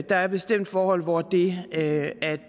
der er bestemt forhold hvor det at